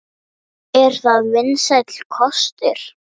Er það vinsæll kostur?